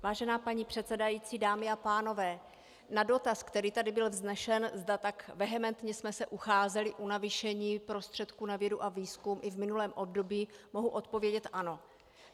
Vážená paní předsedající, dámy a pánové, na dotaz, který tady byl vznesen, zda tak vehementně jsme se ucházeli o navýšení prostředků na vědu a výzkum i v minulém období, mohu odpovědět ano.